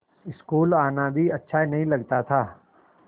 school आना भी अच्छा नहीं लगता था